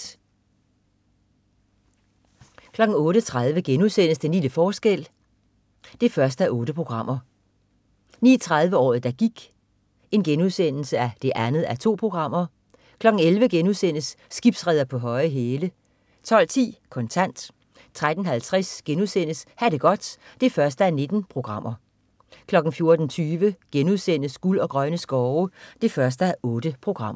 08.30 Den lille forskel 1:8* 09.30 Året der gik 2:2* 11.00 Skibsreder på høje hæle* 12.10 Kontant 13.50 Ha' det godt 1:19* 14.20 Guld og grønne skove 1:8*